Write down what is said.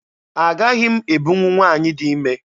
Agaghị m ebunwu nwaanyị dị ime.